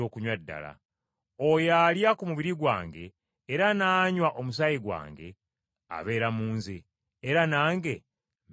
Oyo alya ku mubiri gwange era n’anywa omusaayi gwange abeera mu nze, era nange mbeera mu ye.